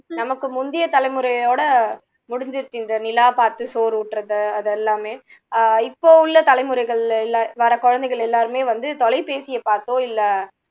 நமக்கு முந்தைய தலைமுறையோட முடிஞ்சுடுச்சு இந்த நிலா பாத்து சோறு ஊட்டுறது அது எல்லாமே ஆஹ் இப்போ உள்ள தலைமுறைகளில உள்ளா வர்ற குழந்தைகள் எல்லாருமே வந்து தொலைபேசியை பாத்தோ இல்ல